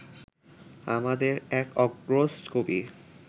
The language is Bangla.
আমাদের এক অগ্রজ কবি